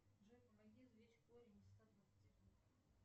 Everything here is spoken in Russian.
джой помоги извлечь корень из ста двадцати двух